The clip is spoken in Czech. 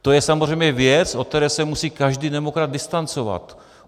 To je samozřejmě věc, od které se musí každý demokrat distancovat.